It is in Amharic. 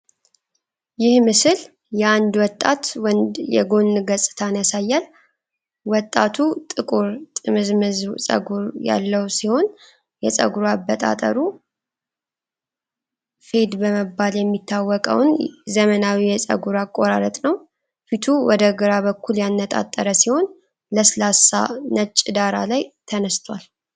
ይህ ምስል የአንድ ወጣት ወንድ የጎን ገጽታን ያሳያል። ወጣቱ ጥቁር፣ ጥምዝምዝ ፀጉር ያለው ሲሆን፣ የፀጉር አበጣጠሩ "fade" በመባል የሚታወቀውን ዘመናዊ የፀጉር አቆራረጥ ነው። ፊቱ ወደ ግራ በኩል ያነጣጠረ ሲሆን፣ ለስላሳ ነጭ ዳራ ላይ ተነስቷል።